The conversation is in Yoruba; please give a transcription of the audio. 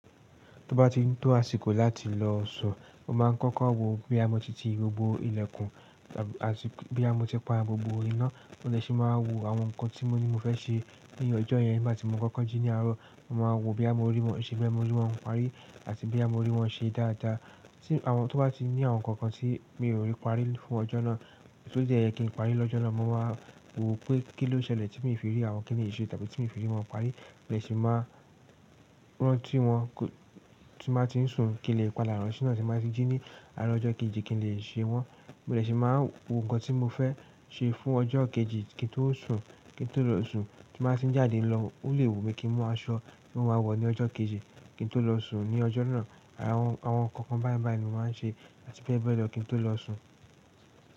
Tó bá ti ń tó àsìkò láti lọ sùn, mo máa ń kọ́kọ́ wo bí a mo ti ti gbogbo ilẹ̀kùn àti bóyá mo ti pa gbogbo iná. Mo dè ṣì máa wo àwọn nǹkan tí mo ní mo fẹ́ ṣe ní ọjọ́ yẹn nígbà tí mo kọ́kọ́ jí ní àárọ̀. Mo máa wo bí à mo rí wọn ṣe, bóyá mo rí wọn parí àti boyà mo rí wọn ṣe dáadáa. Tí àwọn tó bá ti ní àwọn nǹkan kan tí mi ò rí parí fún ọjọ́ náà, tó dẹ́ yẹ kí n parí lọ́jọ́ náà, mo máa wo pé kí ló ṣẹlẹ̀ tí mi fi rí àwọn kíni yí ṣe tàbí tí mi fi rí wọn parí. Mo dè ṣì máa rántí wọn tí n bá ti ń sùn kí n lè padà rántí náà tí n bá ti jí ní àárọ̀ ọjọ́ kejì kí n lè ṣe wọn. Mo dè ṣì máa wo nǹkan tí mo fẹ́ ṣe fún ọjọ́ kejì kí n tó sùn, kí n tó lọ sùn. Tí mo bá ti ń jáde lọ, ó lè wùmí kí ń mú aṣọ tí n máa wọ̀ ní ọjọ́ kejì kí n tó lọ sùn ní ọjọ́ náà. Àwọn nǹkan kan báìbàì ni mo máa ń ṣe àti bẹ́ẹ̀ bẹ́ẹ̀ lọ kí n tó lọ sùn.